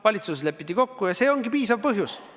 Valitsuses lepiti kokku, ja see ongi piisav põhjus.